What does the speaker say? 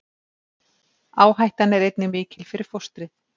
Áhættan er einnig mikil fyrir fóstrið.